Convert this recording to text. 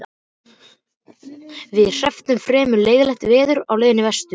Við hrepptum fremur leiðinlegt veður á leiðinni vestur.